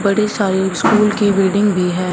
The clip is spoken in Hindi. बड़ी सारि स्कूल की बिल्डिंग भी है।